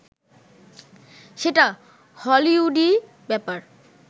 সেটা হলিউডি ব্যাপার